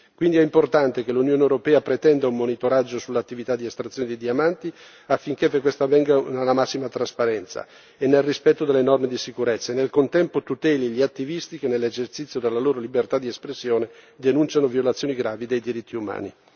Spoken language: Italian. Quindi, è importante che l'Unione europea pretenda un monitoraggio sull'attività di estrazione dei diamanti affinché questa avvenga nella massima trasparenza e nel rispetto delle norme di sicurezza e nel contempo tuteli gli attivisti che nell'esercizio della loro libertà di espressione denunciano violazioni gravi dei diritti umani.